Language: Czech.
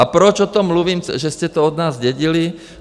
A proč o tom mluvím, že jste to od nás zdědili?